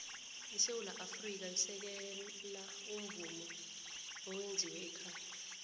isewula afrika isekela umvumo owenziwe ekhaya